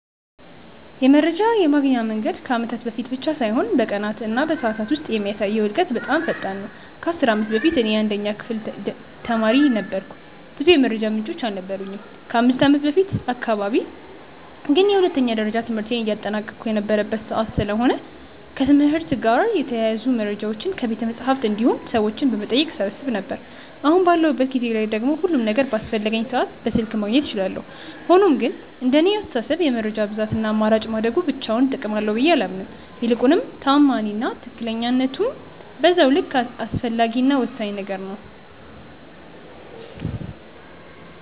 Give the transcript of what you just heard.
የመረጃ የማግኛ መንገድ ከአመታት በፊት ብቻ ሳይሆን በቀናት እና በሰዓታት ውስጥ የሚያሳየው እድገት በጣም ፈጣን ነው። ከ10 አመት በፊት እኔ የአንደኛ ደረጃ ተማሪ ነበርኩ ብዙ የመረጃ ምንጮች አልነበሩኝም። ከ5ከአመት በፊት አካባቢ ግን የሁለተኛ ደረጃ ትምህርቴን እያጠናቀቅሁ የነበረበት ሰዓት ስለሆነ ከትምህርት ጋር የተያያዙ መረጃዎችን ከቤተመፅሀፍት እንዲሁም ሰዎችን በመጠየቅ እሰበስብ ነበር። አሁን ባለሁበት ጊዜ ላይ ደግሞ ሁሉም ነገር በአስፈለገኝ ሰዓት በስልክ ማግኘት እችላለሁ። ሆኖም ግን እንደኔ አስተሳሰብ የመረጃ ብዛት እና አማራጭ ማደጉ ብቻውን ጥቅም አለው ብዬ አላምንም። ይልቁንም ተአማኒ እና ትክክለኝነቱም በዛው ልክ አስፈላጊ እና ወሳኝ ነገር ነው።